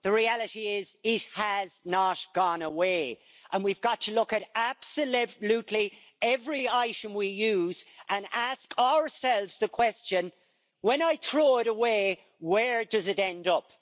The reality is that it has not gone away, and we've got to look at absolutely every item we use and ask ourselves the question when I throw it away, where does it end up?